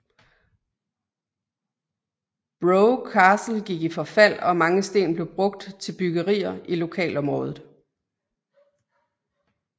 Brough Castle gik i forfald og mange sten blev brugt til byggerier i lokalområdet